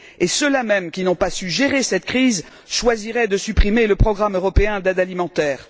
Et ceux là même qui n'ont pas su gérer cette crise choisiraient de supprimer le programme européen d'aide alimentaire?